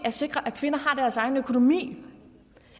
at sikre at kvinder har deres egen økonomi